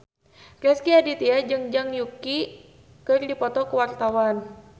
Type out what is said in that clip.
Rezky Aditya jeung Zhang Yuqi keur dipoto ku wartawan